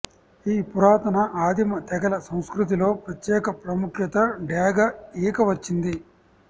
ఈ పురాతన ఆదిమ తెగల సంస్కృతిలో ప్రత్యేక ప్రాముఖ్యత డేగ ఈక వచ్చింది